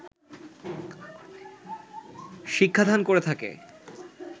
শিক্ষা দান করে থাকে